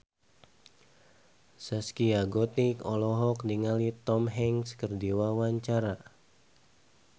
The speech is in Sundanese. Zaskia Gotik olohok ningali Tom Hanks keur diwawancara